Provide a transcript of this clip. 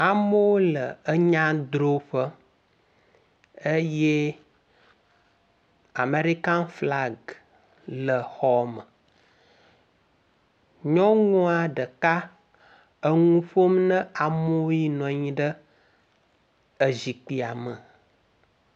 Amewo le enya drɔƒe eye Aerikan flaga le xɔ me. Nyɔnua ɖeka eŋu ƒom na amew yi nɔ anyi ɖe ezikpuia me.